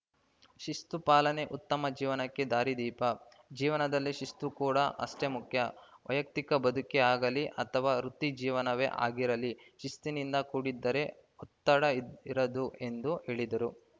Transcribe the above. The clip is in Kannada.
ಶಿಸ್ತು ಪಾಲನೆ ಉತ್ತಮ ಜೀವನಕ್ಕೆ ದಾರಿದೀಪ ಜೀವನದಲ್ಲಿ ಶಿಸ್ತು ಕೂಡಾ ಅಷ್ಟೇ ಮುಖ್ಯ ವೈಯಕ್ತಿಕ ಬದುಕೇ ಆಗಲಿ ಅಥವಾ ವೃತ್ತಿ ಜೀವನವೇ ಆಗಿರಲಿ ಶಿಸ್ತಿನಿಂದ ಕೂಡಿದ್ದರೆ ಒತ್ತಡ ಇರದು ಎಂದು ಹೇಳಿದರು